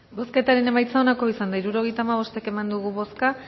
bozketaren emaitza onako izan da hirurogeita hamabost eman dugu bozka